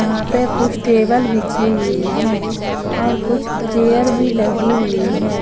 यहां पे कुछ टेबल बिछी हुई है और कुछ चेयर भी लगी हुई है।